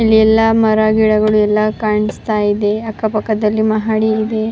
ಇಲ್ಲಿ ಎಲ್ಲ ಮರ ಗಿಡಗಳು ಎಲ್ಲ ಕಾಣಿಸ್ತಾ ಇದೆ ಅಕ್ಕ ಪಕ್ಕದಲ್ಲಿ ಮಹಡಿ ಇದೆ-